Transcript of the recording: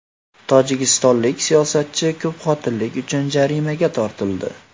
Tojikistonlik siyosatchi ko‘pxotinlilik uchun jarimaga tortildi.